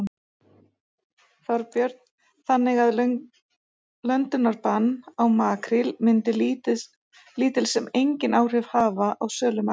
Þorbjörn: Þannig að löndunarbann á makríl myndi lítil sem enginn áhrif hafa á sölu makríls?